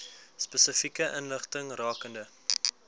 spesifieke inligting rakende